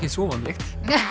svo óvanalegt